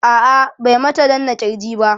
a'a bai mata danna kirji ba